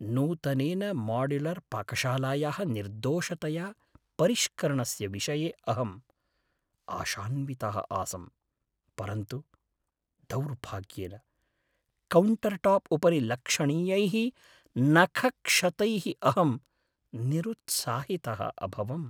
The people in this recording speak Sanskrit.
नूतनेन माड्युलर्पाकशालायाः निर्दोषतया परिष्करणस्य विषये अहम् आशान्वितः आसं, परन्तु दुौर्भाग्येन, कौण्टर्टाप् उपरि लक्षणीयैः नखक्षतैः अहं निरुत्साहितः अभवम्।